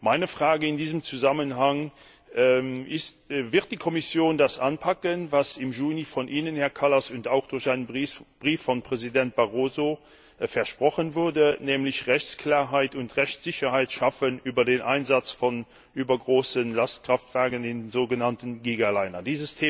Meine Frage in diesem Zusammenhang Wird die Kommission das anpacken, was im Juni von Ihnen, Herr Kallas, und auch durch einen Brief von Präsident Barroso versprochen wurde, nämlich Rechtsklarheit und Rechtssicherheit zu schaffen über den Einsatz von übergroßen Lastkraftwagen in so genannten Gigalinern?